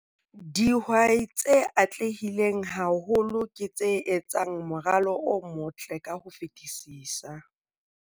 Dihwai tse atlehileng haholo ke tse etsang moralo o motle ka ho fetisisa.